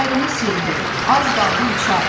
Kəmərini sildi, az qaldı uça.